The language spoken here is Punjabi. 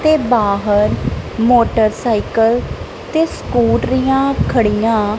ਤੇ ਬਾਹਰ ਮੋਟਰਸਾਈਕਲ ਤੇ ਸਕੂਟਰੀਆਂ ਖੜੀਆਂ --